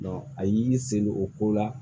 a y'i y'i sen don o ko la